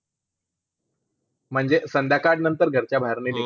म्हणजे संध्यकाळ नंतर घर च्या बाहेर नाही